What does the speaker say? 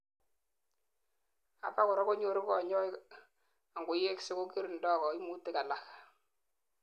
abakora konyoru kanyoik angoyengsei kokiringdoi koimutik alak